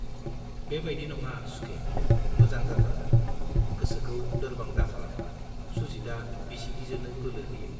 बे बाइदि नङा सुखे, मोजां जाथारगोन, गोसोखौ लोरबां दाखालाम सुजितआ बिसिगिजोनो बोलो होयो।